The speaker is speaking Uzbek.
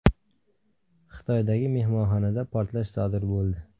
Xitoydagi mehmonxonada portlash sodir bo‘ldi.